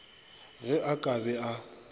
ge a ka be a